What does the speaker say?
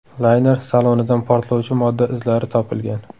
Layner salonidan portlovchi modda izlari topilgan.